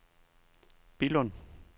Billund